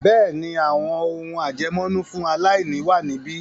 Bẹ́ẹ̀ni, “àwọn ohùn àjẹmọ́nú fún aláìní ” wà níbí.